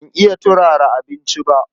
Ba iya turara abinci ba.